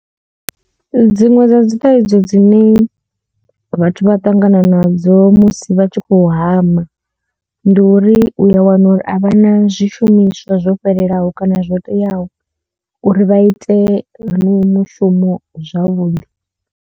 Dziṅwe dza dzi thaidzo dzine vhathu vha ṱangana nadzo musi vha tshi khou hama ndi uri u a wana uri a vha na zwishumiswa zwo fhelelaho kana zwo teaho uri vha ite mushumo zwavhuḓi.